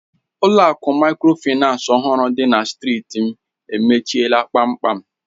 Ụlọ akụ Mikrofaịnsi ọhụrụ dị na strịti m emechiela kpamkpam.